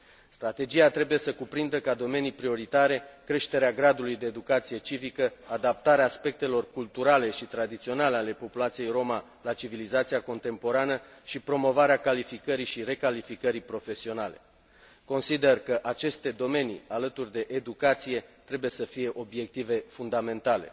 Strategia trebuie să cuprindă ca domenii prioritare creșterea gradului de educație civică, adaptarea aspectelor culturale și tradiționale ale populației roma la civilizația contemporană și promovarea calificării și recalificării profesionale. Consider că aceste domenii, alături de educație, trebuie să fie obiective fundamentale.